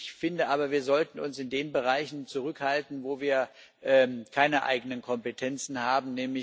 Ich finde aber, wir sollten uns in den Bereichen zurückhalten, wo wir keine eigenen Kompetenzen haben.